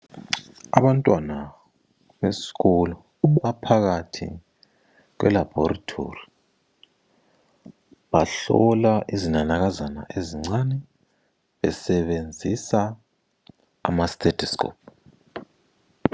Abantwana besikolo baphakathi kwelaboratory. Bahlola izinanakazana ezincane besebenzisa amastethoscope